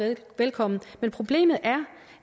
velkommen men problemet er